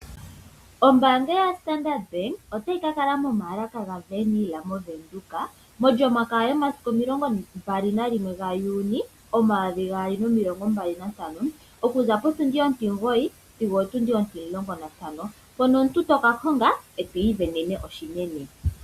Oombanga yaStandard bank otayi ka kala momaalaka gaWernhil moVenduka mOlyamakaya yomasiku omilongombali gaJuuni omayovi gaali nomilongo mbali nantano . Okuza potundi ontimugoyi sigo otundi ontimulongo nantano. Mpono omuntu toka honga eto ivenene oshinene.